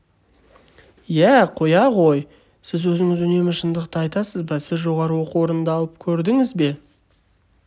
иә қоя ғой сіз өзіңіз үнемі шындықты айтасыз ба сіз жоғарғы оқу орнында алып көрдіңіз бе